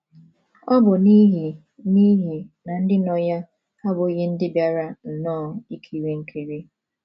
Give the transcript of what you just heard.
Ọ bụ n’ihi n’ihi na ndị nọ ya abụghị ndị bịara nnọọ ikiri nkiri.